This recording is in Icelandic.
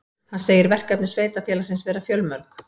Hann segir verkefni sveitarfélagsins vera fjölmörg